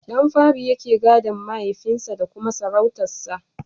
Ɗan fari yake gadon mahaifin sa da kuma sarautar sa.